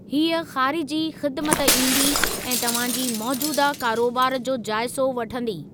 हीअ ख़ारिजी ख़िदिमत ईंदी ऐं तव्हां जी मोजूदह कारोबार जो जाइज़ो वठंदी।